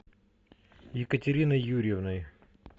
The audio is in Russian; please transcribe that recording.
екатериной юрьевной